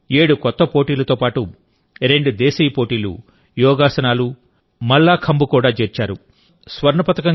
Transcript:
వాటిలో 7 కొత్త పోటీలతో పాటు రెండు దేశీయ పోటీలు యోగాసనాలుమల్లాఖంబ్ కూడా చేర్చారు